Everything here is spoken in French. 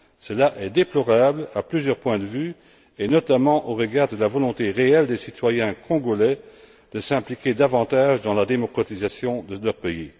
Cela est déplorable à plusieurs points de vue et notamment au regard de la volonté réelle des citoyens congolais de s'impliquer davantage dans la démocratisation de leur pays.